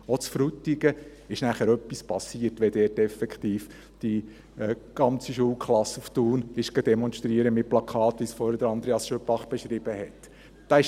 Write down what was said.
Auch in Frutigen ist anschliessend etwas passiert, wenn dort effektiv die ganze Schulklasse mit Plakaten nach Thun demonstrieren gegangen ist, wie es vorhin Andreas Schüpbach beschrieben hat.